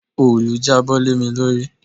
Òòlù jábọ́ lé mi lórí.